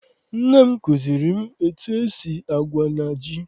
Nne m kụziere m etu esi agwa na ji.